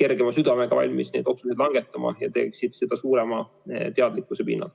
kergema südamega valmis neid otsuseid langetama ja teeksid seda suurema teadlikkuse pinnalt.